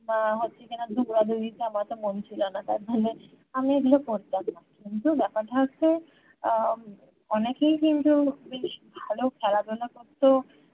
আহ হচ্ছে কিনা দৌড়া দৌড়িতে আমার অত মন ছিলো না তার জন্যে আমি এগুলো করতাম না কিন্তু ব্যাপারটা হচ্ছে আহ অনেকেই কিন্তু বেশ ভালো খেলাধুলা করতো